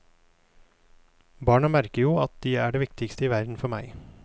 Barna merker jo at de er det viktigste i verden for meg.